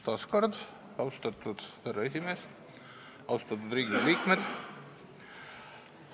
Taas kord, austatud härra esimees, austatud Riigikogu liikmed!